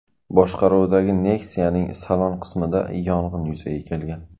boshqaruvidagi Nexia’ning salon qismida yong‘in yuzaga kelgan .